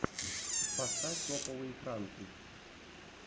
поставь топовые пранки